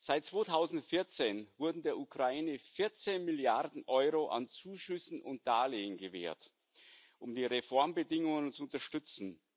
Seit 2014 wurden der Ukraine 14 Milliarden EUR an Zuschüssen und Darlehen gewährt, um die Reformbemühungen zu unterstützen.